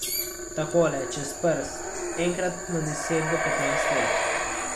Takole, čez prst, enkrat na deset do petnajst let.